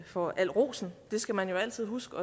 for al rosen det skal man jo altid huske